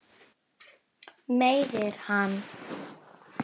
Meiðir hann.